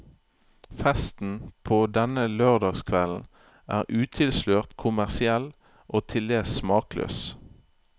Festen på denne lørdagskvelden er utilslørt kommersiell og tildels smakløs.